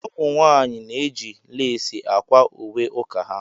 Ụmụ nwanyị na-eji leesi Akwa ùwé uka ha.